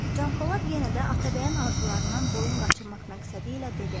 Canpolad yenə də Atabəyin arzularından boyun qaçırmaq məqsədi ilə dedi.